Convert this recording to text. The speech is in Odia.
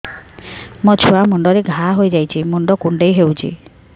ମୋ ଛୁଆ ମୁଣ୍ଡରେ ଘାଆ ହୋଇଯାଇଛି ମୁଣ୍ଡ କୁଣ୍ଡେଇ ହେଉଛି